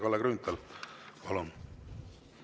Kalle Grünthal, palun!